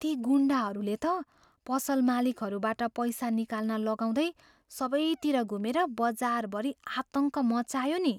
ती गुन्डाहरूले त पसल मालिकहरूबाट पैसा निकाल्न लगाउँदै सबैतिर घुमेर बजारभरि आतङ्क मच्चायो नि।